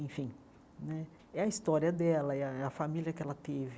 Enfim né, é a história dela, é a é a família que ela teve.